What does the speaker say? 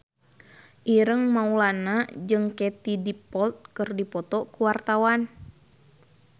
Ireng Maulana jeung Katie Dippold keur dipoto ku wartawan